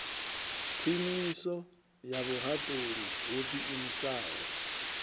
khwiniso ya vhuhaṱuli ho ḓiimisaho